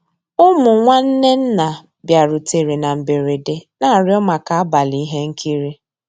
Ụmụ́ nnwànné nná bìàrùtérè ná mbérèdé, ná-àrịọ́ màkà àbàlí íhé nkírí.